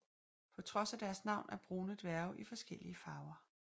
På trods af deres navn er brune dværge i forskellige farver